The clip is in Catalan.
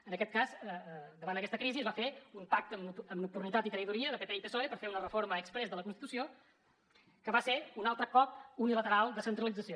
en aquest cas davant aquesta crisi es va fer un pacte amb nocturnitat i traïdoria de pp i psoe per fer una reforma exprés de la constitució que va ser un altre cop unilateral de centralització